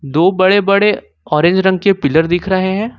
दो बड़े बड़े ऑरेंज रंग के पिलर दिख रहे हैं।